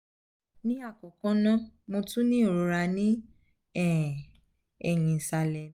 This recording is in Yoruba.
ni akoko naa mo tun ni irora ni um ẹhin isalẹ mi